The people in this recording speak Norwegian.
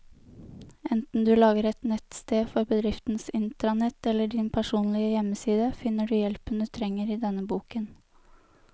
Enten du lager et nettsted for bedriftens intranett eller din personlige hjemmeside, finner du hjelpen du trenger i denne boken.